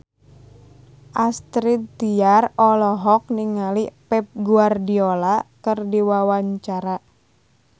Astrid Tiar olohok ningali Pep Guardiola keur diwawancara